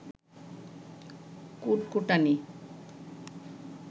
কুটকুটানি